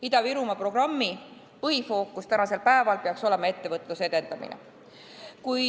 Ida-Virumaa programmi põhifookus peaks olema ettevõtluse edendamine.